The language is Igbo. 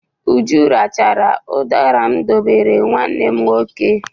Uju rachara ụdara m dowere nwanne m nwoke.